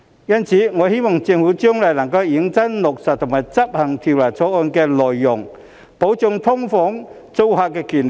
因此，我希望政府將來能認真落實和執行《條例草案》的內容，保障"劏房"租客的權利。